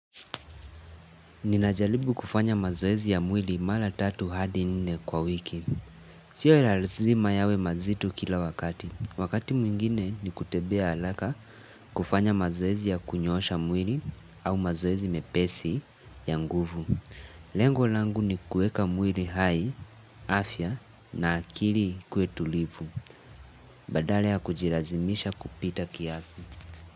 Ninajaribu kufanya mazoezi ya mwili mara tatu hadi nne kwa wiki. Sio lazima yawe mazito kila wakati. Wakati mwingine ni kutebea halaka kufanya mazoezi ya kunyoosha mwili au mazoezi mepesi ya nguvu. Lengo langu ni kueka mwili hai, afya na akili ikuwe tulivu. Badala ya kujilazimisha kupita kiasi.